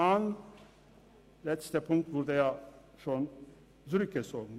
Der letzte Punkt wurde ja zurückgezogen.